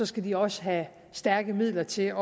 skal de også have stærke midler til